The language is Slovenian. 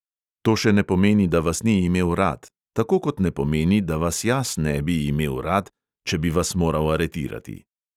To še ne pomeni, da vas ni imel rad, tako kot ne pomeni, da vas jaz ne bi imel rad, če bi vas moral aretirati.